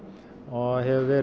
og